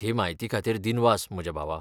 हे म्हायती खातीर दिनवास, म्हज्या भावा.